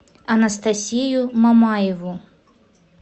анастасию мамаеву